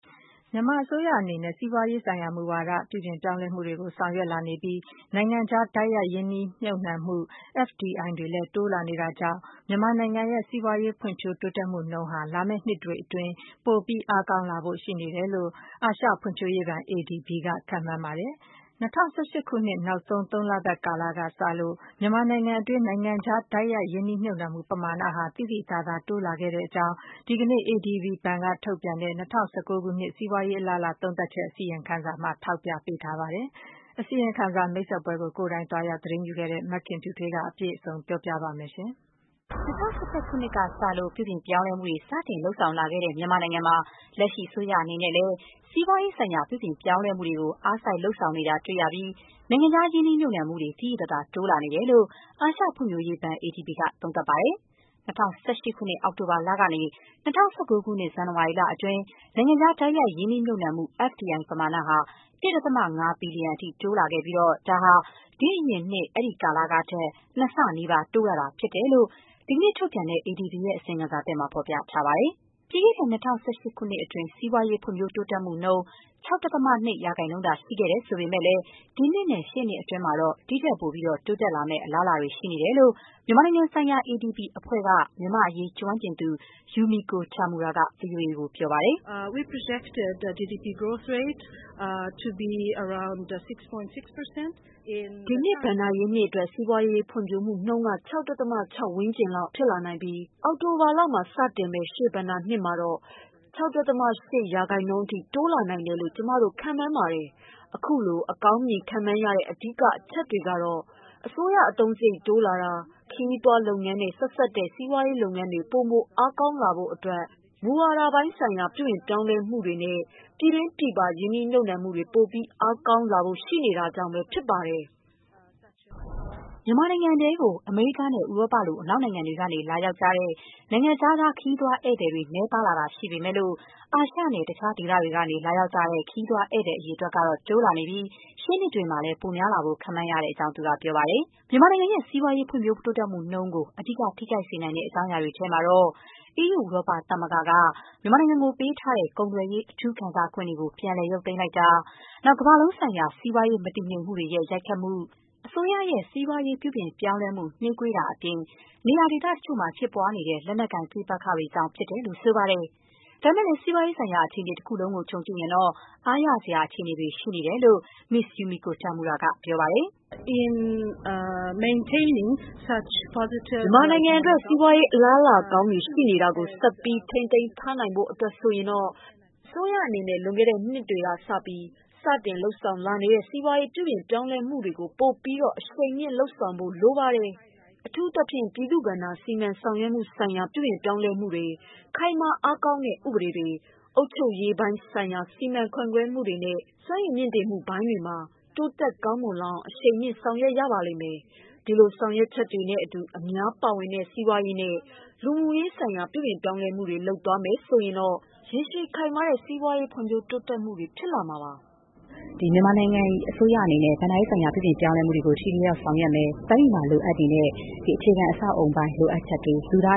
မြန်မာအစိုးရအနေနဲ့ စီးပွားရေးဆိုင်ရာ မူဝါဒ ပြုပြင်ပြောင်းလဲမှုတွေကို ဆောင်ရွက် လာနေပြီး နိုင်ငံခြား တိုက်ရိုက် ရင်းနှီးမြှုပ်နှံမှု FDI တွေလည်း တိုးလာနေ တာကြောင့် မြန်မာနိုင်ငံရဲ့ စီးပွားရေးဖွံ့ဖြိုးတိုးတက်မှုနှုန်းဟာ လာမယ့်နှစ်တွေအတွင်း ပိုမို အားကောင်းလာဖို့ ရှိနေတယ်လို့ အာရှဖွံ့ဖြိုးရေးဘဏ် ADB က ခန့်မှန်းပါတယ်။ ၂၀၁၈ ခုနှစ် နောက်ဆုံး သုံးလပတ်ကာလ ကစလို့ မြန်မာနိုင်ငံတွင်း နိုင်ငံခြား တိုက်ရိုက် ရင်းနှီးမြှုပ်နှံမှု ပမာဏဟာ သိသိသာသာ တိုးလာခဲ့တဲ့အကြောင်း ဒီကနေ့ ADB ဘဏ်က ထုတ်ပြန်တဲ့ ၂၀၁၉ ခုနှစ် စီးပွားရေး အလားအလာ သုံးသပ်ချက် အစီရင်ခံစာမှာ ထောက်ပြထားပါတယ်။ အစီရင်ခံစာ မိတ်ဆက်ပွဲကို ကိုယ်တိုင် သွားရောက် သတင်းယူခဲ့တဲ့ မခင်ဖြူထွေးက အပြည့်စုံ တင်ပြပေးပါမယ်။ ၂၀၁၁ ခုနှစ်ကစလို့ ပြုပြင်ပြောင်းလဲမှုတွေ စတင်လုပ်ဆောင်လာခဲ့တဲ့ မြန်မာနိုင်ငံမှာ လက်ရှိ အစိုးရအနေနဲ့လည်း စီးပွားရေးဆိုင်ရာ ပြုပြင် ပြောင်းပြောင်းလဲမှုတွေကို အားစိုက်လုပ်ဆောင်လာနေတာ တွေ့ရပြီး၊ နိုင်ငံခြားရင်းနှီးမြှုပ်နှံမှုတွေကို သိသိသာသာ တိုးလာနေတယ်လို့ အာရှဖွံ့ဖြိုးရေးဘဏ် ADB က သုံးသပ်ပါတယ်။ ၂၀၁၈ ခုနှစ် အောက်တိုဘာလကနေ ၂၀၁၉ ခုနှစ် ဇန်နဝါရီလအတွင်း နိုင်ငံခြား တိုက်ရိုက် ရင်းနှီးမြှုပ်နှံမှု FDI ပမာဏဟာ ၁.၅ ဘီလျံအထိ တိုးလာခဲ့ပြီး ဒါဟာ ဒီ့အရင်နှစ် အဲ့ဒီကာလကထက် ၂ ဆနီးပါး တိုးလာတာ ဖြစ်တဲ့အကြောင်း ဒီကနေ့ ထုတ်ပြန်တဲ့ အစီရင်ခံစာသစ်မှာ ဖော်ပြထားပါတယ်။ ပြီးခဲ့တဲ့ ၂၀၁၈ ခုနှစ်အတွင်း စီးပွားရေး ဖွံ့ဖြိုးတိုးတက်မှုနှုန်း ၆.၂ % ရှိခဲ့ပြီး၊ ဒီနှစ်နဲ့ ရှေ့နှစ်အတွင်းမှာတော့ ဒီ့ထက်ပိုပြီး တိုးတက်လာဖို့ အလားအလာကောင်းတွေ ရှိနေတယ်လို့ မြန်မာနိုင်ငံဆိုင်ရာ ADB အဖွဲ့က မြန်မာ့အရေးကျွမ်းကျင်သူ Yumiko Tamura က ဗွီအိုအေကို ခုလို ပြောပါတယ်။ “ဒီနှစ် ဘဏ္ဍာရေးနှစ်အတွက် စီးပွားရေးဖွံ့ဖြိုးမှုနှုန်းက ၆.၆ % ဝန်းကျင်လောက် ဖြစ်လာနိုင်ပြီး အောက်တိုဘာလမှာ စတင်မယ့် ရှေ့ဘဏ္ဍာရေးနှစ်မှာတော့ ၆.၈% အထိ တိုးလာနိုင်တယ်လို့ ကျမတို့ ခန့်မှန်းပါတယ်။ အခုလို အကောင်းမြင်ခန့်မှန်းရတဲ့ အဓိက အချက်တွေထဲမှာတော့ အစိုးရအသုံးစရိတ် တိုးလာတာ၊ ခရီးသွားလုပ်ငန်းနဲ့ ဆက်စပ်တဲ့ စီးပွားရေးလုပ်ငန်းတွေ ပိုမို အားကောင်းလာဖို့အတွက် မူဝါဒပိုင်းဆိုင်ရာ ပြုပြင်ပြောင်းလဲမှုတွေနဲ့ ပြည်တွင်းပြည်ပ ရင်းနှီးမြှုပ်နှံမှုတွေ ပိုပြီး အားကောင်းလာဖို့ ရှိနေတာတွေကြောင့် ဖြစ်ပါတယ်။” မြန်မာနိုင်ငံတွင်း အမေရိကားနဲ့ ဥရောပ လို အနောက်နိုင်ငံတွေက လာရောက်ကြတဲ့ နိုင်ငံခြားသား ခရီးသည်အရေအတွက် နည်းပါးလာတာ ရှိပေမဲ့လို့ အာရှနဲ့ တခြားဒေသတွေကနေ လာရောက်ကြတဲ့ ခရီးသွားဧည့်သည်တွေကတော့ တိုးလာနေပြီး ရှေ့နှစ်တွေမှာ ပိုများလာဖို့ ခန့်မှန်း ရတဲ့အကြောင်းလည်း သူက ပြောပါတယ်။ မြန်မာနိုင်ငံ စီးပွားရေးဖွံ့ဖြိုးမှုနှုန်းကို အဓိက ထိခိုက်စေနိုင်တဲ့ အကြောင်းအရာတွေ ထဲမှာတော့ - အီးယူ ဥရောပသမဂ္ဂက မြန်မာနိုင်ငံကို ပေးထားတဲ့ ကုန်သွယ်ရေး အထူး ခံစားခွင့်တွေ ပြန်လည် ရုပ်သိမ်းလိုက်တာ၊ ကမ္ဘာလုံးဆိုင်ရာ စီးပွားရေးမတည်ငြိမ်မှုတွေရဲ့ ရိုက်ခတ်မှု၊ စီးပွားရေး ပြုပြင်ပြောင်းလဲမှု နှေးကွေးနေတာအပြင် နေရာဒေသတချို့မှာ ဖြစ်ပွားနေတဲ့ လက်နက်ကိုင်ပဋိပက္ခတွေကြောင့် လို့ ဆိုပါတယ်။ ဒါပေမဲ့လည်း စီးပွားရေးဆိုင်ရာ အခြေအနေ တခုလုံးကို ခြုံကြည့်ရင်တော့ အားရစရာ အခြေအနေတွေ ရှိနေတယ်လို့ Ms Yumiko Tamura က ပြောပါတယ်။ “မြန်မာနိုင်ငံအတွက် စီးပွားရေး အလားအလာကောင်းတွေ ရှိနေတာကို ဆက်ပြီး ထိန်းသိမ်းထားနိုင်ဖို့ အတွက်ဆိုရင်တော့ - အစိုးရအနေနဲ့ လွန်ခဲ့တဲ့နှစ်ပိုင်းတွေကစပြီး စတင်လုပ်ဆောင်လာနေတဲ့ စီးပွားရေး ပြုပြင်ပြောင်းလဲမှုတွေကို ပိုပြီးတော့ အရှိန်မြှင့်လုပ်ဆောင်ဖို့ လိုပါတယ်။ အထူးသဖြင့် ပြည်သူ့ဘဏ္ဍာ စီမံဆောင်ရွက်မှုဆိုင်ရာ ပြုပြင်ပြောင်းလဲမှုတွေ၊ ခိုင်မာအားကောင်းတဲ့ ဥပဒေတွေ၊ အုပ်ချုပ်ရေးပိုင်းဆိုင်ရာ စီမံခန့်ခွဲမှုတွေ နဲ့ စွမ်းရည်မြှင့်တင်မှုပိုင်းတွေမှာ တိုးတက်ကောင်းမွန်လာအောင် အရှိန်မြှင့် ဆောင်ရွက်ရပါလိမ့်မယ်။ ဒီလို ဆောင်ရွက်ချက်တွေ နဲ့အတူ အများပါဝင်တဲ့ စီးပွားရေးနဲ့ လူမှုရေးဆိုင်ရာ ပြုပြင်ပြောင်းလဲမှုတွေ လုပ်သွားမယ်ဆိုရင်တော့ ရေရှည်ခိုင်မာတဲ့ စီးပွားရေးဖွံ့ဖြိုး တိုးတက်မှုတွေ ဖြစ်လာစေမှာပါ။” မြန်မာအစိုးရအနေနဲ့ ဘဏ္ဍာရေးဆိုင်ရာ ပြုပြင်ပြောင်းလဲမှုတွေကို ထိထိရောက်ရောက် ဆောင်ရွက်သွားမယ်၊ ရင်းနှီးမြှုပ်နှံမှုတွေ အားကောင်းလာဖို့အတွက် လိုအပ်တဲ့ အခြေခံအဆောက်အအုံပိုင်းဆိုင်ရာ လိုအပ်ချက်တွေနဲ့ လူသာ